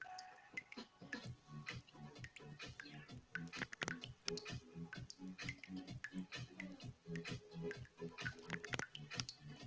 Við eigum óþrjótandi orku og hún á eftir að koma okkur til góða.